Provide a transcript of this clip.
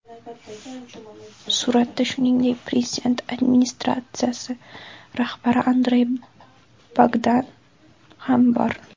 Suratda, shuningdek, Prezident administratsiyasi rahbari Andrey Bogdan ham bor.